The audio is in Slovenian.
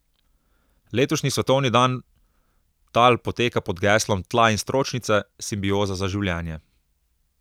Letošnji svetovni dan tal poteka pod geslom Tla in stročnice, simbioza za življenje.